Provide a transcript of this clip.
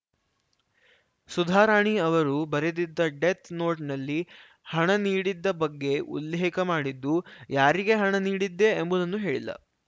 ಸುಧಾರಾಣಿ ಅವರು ಬರೆದಿದ್ದ ಡೆತ್‌ನೋಟ್‌ನಲ್ಲಿ ಹಣ ನೀಡಿದ್ದ ಬಗ್ಗೆ ಉಲ್ಲೇಖ ಮಾಡಿದ್ದು ಯಾರಿಗೆ ಹಣ ನೀಡಿದ್ದೆ ಎಂಬುದನ್ನು ಹೇಳಿಲ್ಲ